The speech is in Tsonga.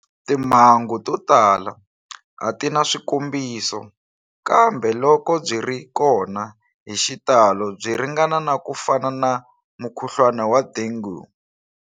Timhangu to tala a ti na swikombiso, kambe loko byi ri kona hi xitalo byi ringana na ku fana na mukhuhlwana wa dengue.